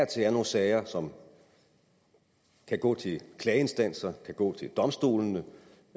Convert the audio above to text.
til er nogle sager som kan gå til klageinstanser kan gå til domstolene